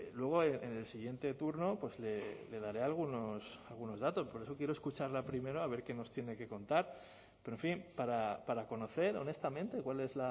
luego en el siguiente turno le daré algunos datos por eso quiero escucharla primero a ver qué nos tiene que contar pero en fin para conocer honestamente cuál es